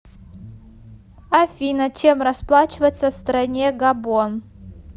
афина чем расплачиваться в стране габон